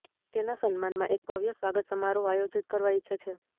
તેના સન્માનમાં એક ભવ્ય સ્વાગત સમારોહ આયોજીત કરવા ઇચ્છે છે